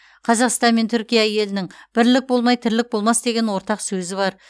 қазақстан мен түркия елінің бірлік болмай тірлік болмас деген ортақ сөзі бар